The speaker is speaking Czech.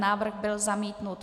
Návrh byl zamítnut.